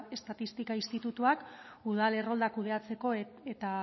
estatistika institutuak udal erroldak kudeatzeko eta